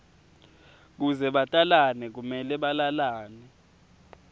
kuze batalane kumele balalane